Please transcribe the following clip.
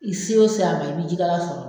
I se o se a ma i bi ji kalan sɔrɔ.